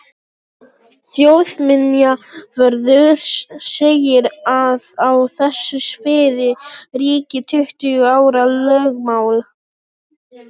Þjóðminjavörður segir að á þessu sviði ríki tuttugu ára lögmál.